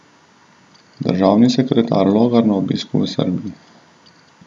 Državni sekretar Logar na obisku v Srbiji.